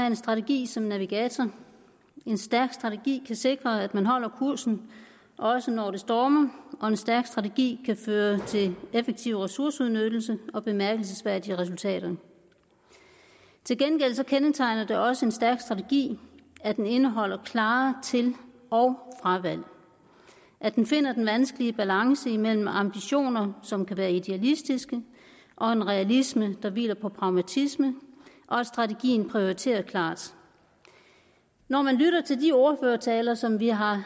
en strategi som navigatør en stærk strategi kan sikre at man holder kursen også når det stormer og en stærk strategi kan føre til en effektiv ressourceudnyttelse og bemærkelsesværdige resultater til gengæld kendetegner det også en stærk strategi at den indeholder klare til og fravalg at den finder den vanskelige balance imellem ambitioner som kan være idealistiske og en realisme der hviler på pragmatisme og at strategien er prioriteret klart når man lytter til de ordførertaler som vi har